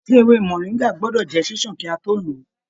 Ṣe ewé moringa gbọdọ jẹ ṣiṣan ki a to lọ ọ?